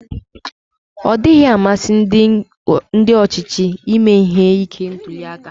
Ọdịghị amasị ndi ochịchị ime ihe ike ntuliaka.